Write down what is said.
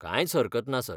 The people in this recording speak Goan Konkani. कांयच हरकत ना, सर.